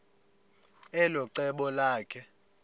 elo cebo lakhe